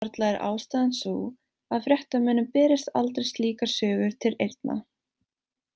Varla er ástæðan sú að fréttamönnum berist aldrei slíkar sögur til eyrna.